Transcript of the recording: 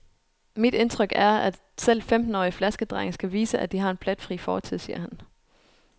Mit indtryk er at, selv femtenårige flaskedrenge skal vise, at de har en pletfri fortid, siger han.